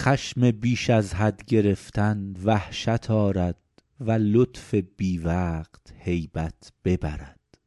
خشم بیش از حد گرفتن وحشت آرد و لطف بی وقت هیبت ببرد